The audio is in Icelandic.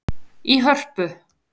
í Hörpu.